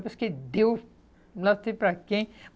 Porque deu, não sei para quem.